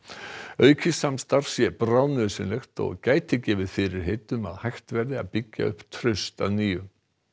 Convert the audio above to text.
aukið samstarf sé bráðnauðsynlegt og gæti gefið fyrirheit um að hægt verði að byggja upp traust að nýju